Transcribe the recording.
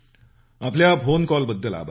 आपल्या फोन कॉलबद्दल आभार